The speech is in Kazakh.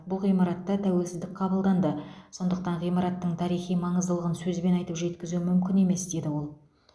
бұл ғимаратта тәуелсіздік қабылданды сондықтан ғимараттың тарихи маңыздылығын сөзбен айтып жеткізу мүмкін емес деді ол